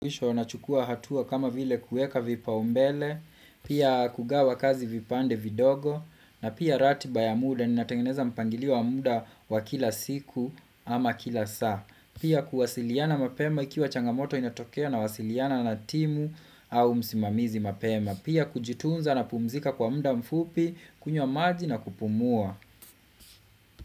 Mwisho nachukua hatua kama vile kueka vipaumbele, pia kugawa kazi vipande vidogo, na pia ratiba ya muda, ninatengeneza mpangilio muda wa kila siku ama kila saa. Pia kuwasiliana mapema ikiwa changamoto inatokea nawasiliana na timu au msimamizi mapema. Pia kujitunza napumzika kwa muda mfupi, kunywa maji na kupumua.